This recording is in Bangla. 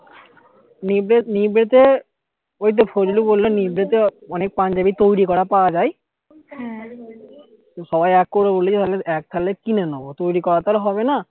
নিব্বে নিব্বে তে ওই তো ফজলি বললো নিব্বে তে অনেক পাঞ্জাবি তৈরী করা পাওয়া যায় তো সবাই এক করবে বলেছে এক কালে কিনে নেবো তৈরী করা তো আর হবে না